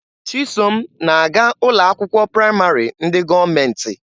Chisom na-aga ụlọ akwụkwọ praịmarị ndị gọọmenti.